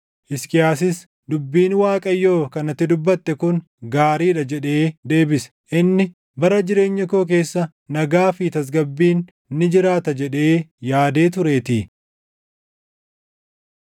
Hisqiyaasis, “Dubbiin Waaqayyoo kan ati dubbatte kun gaarii dha” jedhee deebise. Inni, “Bara jireenya koo keessa nagaa fi tasgabbiin ni jiraata” jedhee yaadee tureetii.